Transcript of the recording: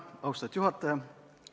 Austatud juhataja!